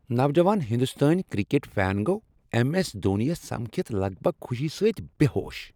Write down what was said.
نوجوان ہنٛدستٲنۍ cricket fan گوٚو ایم ایس دھونی یس سمکھِتھ لگ بگ خوشی سۭتۍ بے ہوش۔